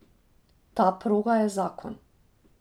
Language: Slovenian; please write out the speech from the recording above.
Ta proga je zakon.